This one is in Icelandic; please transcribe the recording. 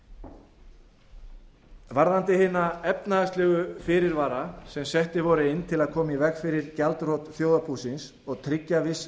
stigin varðandi hina efnahagslegu fyrirvara sem settir voru inn til að koma í veg fyrir gjaldþrot þjóðarbúsins og tryggja viss